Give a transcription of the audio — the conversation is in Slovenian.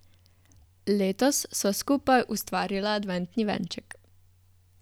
Letos sva skupaj ustvarila adventni venček.